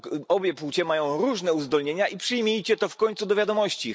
Obie płcie mają różne uzdolnienia i przyjmijcie to w końcu do wiadomości.